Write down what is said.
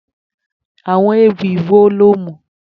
Àwo̩n ewì wo ni o mò̩?